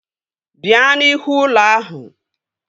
Bịa n'ihu ụlọ ahụ!